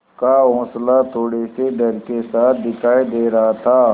का हौंसला थोड़े से डर के साथ दिखाई दे रहा था